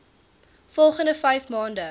volgende vyf maande